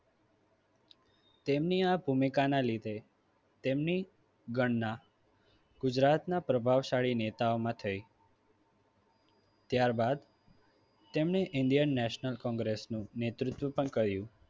તેમની આ ભૂમિકાના લીધે તેમની ગણના ગુજરાતના પ્રભાવશાળી નેતામાં થઈ. ત્યારબાદ તેમણે indian national કોંગ્રેસનું નેતૃત્વ પણ કર્યુ.